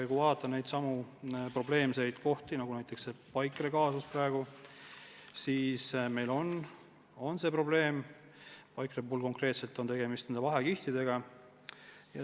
Kui vaadata probleemseid kohti, nagu näiteks praegu see Paikre kaasus, siis Paikre puhul konkreetselt on tegemist vahekihtidega.